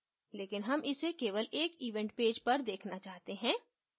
लेकिन हम इसे केवल एक event page पर देखना चाहते हैं